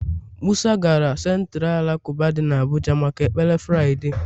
musa gara Centira alakụba dị n'Abuja maka ekpere Fraịde.